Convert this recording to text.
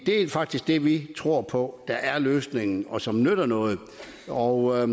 er faktisk det vi tror på er løsningen og som nytter noget noget